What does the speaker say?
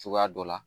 Cogoya dɔ la